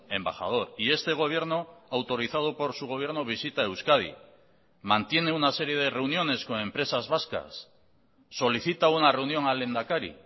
embajador y este gobierno autorizado por su gobierno visita euskadi mantiene una serie de reuniones con empresas vascas solicita una reunión al lehendakari